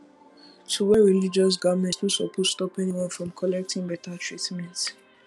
to wear religious garment no supose stop anyone from collecting better treatment